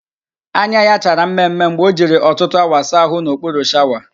Anya ya chara mme mme mgbe o jiri ọtụtụ awa saa ahụ n'okpuru shawa